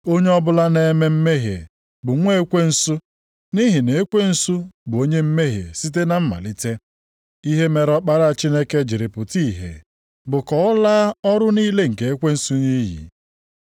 Onye ọbụla na-eme mmehie bụ nwa ekwensu, nʼihi na ekwensu bụ onye mmehie site na mmalite. Ihe mere Ọkpara Chineke jiri pụta ìhè bụ ka ọ laa ọrụ niile nke ekwensu nʼiyi.